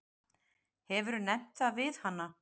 Hefurðu nefnt það við hana?